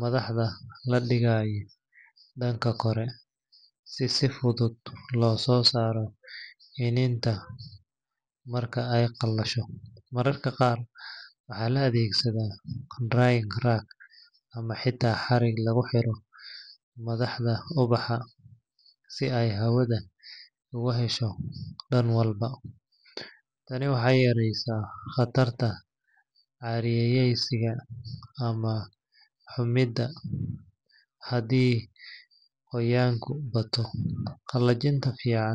madaxda la dhigayo dhanka kore, si si fudud loosoo saaro iniinta marka ay qalasho. Mararka qaar waxaa la adeegsadaa drying rack ama xitaa xarig lagu xiro madaxda ubaxa si ay hawada uga hesho dhan walba. Tani waxay yareynaysaa khatarta caariyaysiga ama xumida haddii qoyaanku bato. Qalajinta fiican.